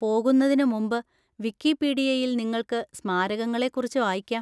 പോകുന്നതിന് മുമ്പ് വിക്കിപീഡിയയിൽ നിങ്ങൾക്ക് സ്മാരകങ്ങളെ കുറിച്ച് വായിക്കാം.